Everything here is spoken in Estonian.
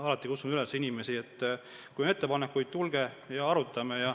Ma kutsun alati inimesi üles: kui on ettepanekuid, tulge ja arutame.